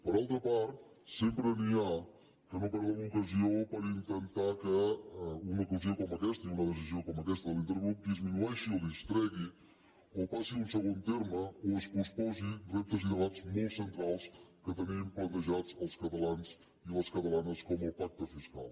per altra part sempre n’hi ha que no perden l’ocasió per intentar que una ocasió com aquesta i una decisió com aquesta de l’intergrup disminueixi o distregui o passi a un segon terme o es posposin reptes i debats molt centrals que tenim plantejats els catalans i les catala·nes com el pacte fiscal